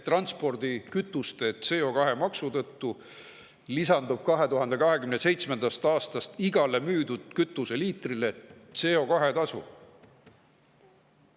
Transpordikütuste CO2 maksu tõttu lisandub 2027. aastast igale müüdud kütuseliitrile CO2-tasu.